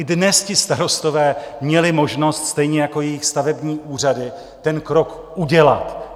I dnes ti starostové měli možnost, stejně jako jejich stavební úřady, ten krok udělat.